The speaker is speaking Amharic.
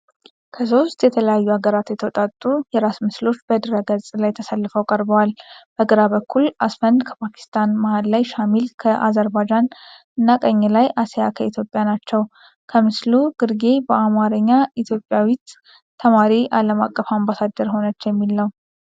ከሶስት የተለያዩ አገራት የተውጣጡ የራስ ምስሎች በድህረገፅ ላይ ተሰልፈው ቀርበዋል። በግራ በኩል አስፈንድ ከፓኪስታን፣ መሃል ላይ ሻሚል ከአዘርባይጃን እና ቀኝ ላይ አሲያ ከኢትዮጵያ ናቸው። ከምስሉ ግርጌ በአማርኛ "ኢትዮጵያዊት ተማሪ አለም አቀፍ አምባሳደር ሆነች" የሚል ነው።